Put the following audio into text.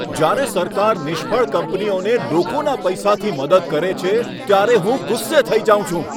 જ્યારે સરકાર નિષ્ફળ કંપનીઓને લોકોના પૈસાથી મદદ કરે છે, ત્યારે હું ગુસ્સે થઈ જાઉં છું.